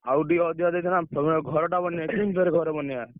ଆଉ ଟିକେ ଅଧିକା ଦେଇଥାନ୍ତ ତମେ ଘରଟା ବନେଇଆ ଘର ବନେଇଆ।